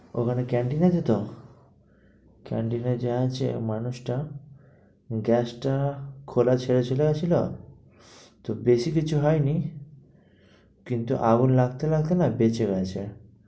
ওখানে canteen আছে তো? canteen এ যে আছে, মানুষটা gas টা খোলা ছেড়ে চলে গেছিলো তো বেশি কিছু হয়নি কিন্তু আগুন লাগতে লাগতে না বেঁচে গেছে।